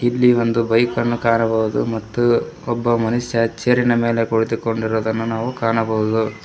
ಇಲ್ಲಿ ಒಂದು ಬೈಕ್ ಅನ್ನು ಕಾಣಬಹುದು ಮತ್ತು ಒಬ್ಬ ಮನುಷ್ಯ ಚೇರ್ ಇನ ಮೇಲೆ ಕುಳಿತುಕೊಂಡಿರುವುದನ್ನು ನಾವು ಕಾಣಬಹುದು.